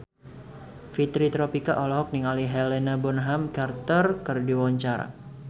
Fitri Tropika olohok ningali Helena Bonham Carter keur diwawancara